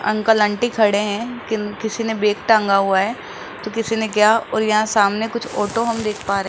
Uncle aunty खड़े हैं किन किसी ने बैग टांगा हुआ है तो किसी ने क्या और यहां सामने कुछ ऑटो हम देख पा रहे हैं।